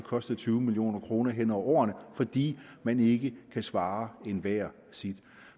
kostet tyve million kroner hen over årene fordi man ikke kan svare enhver sit